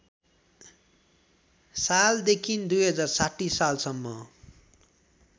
सालदेखि २०६० सालसम्म